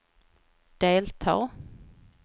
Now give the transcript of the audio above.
delta